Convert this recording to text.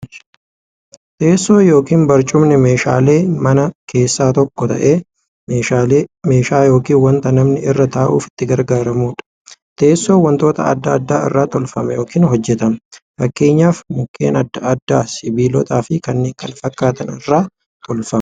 Teessoon yookiin barcumni meeshaalee manaa keessaa tokko ta'ee, meeshaa yookiin wanta namni irra ta'uuf itti gargaaramuudha. Teessoon wantoota adda addaa irraa tolfama yookiin hojjatama. Fakkeenyaf Mukkeen adda addaa, sibilootaafi kanneen kana fakkaatan irraa tolfamu.